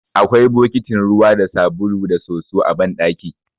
Akwai bokitin ruwa da sabulu da soso a banɗaki.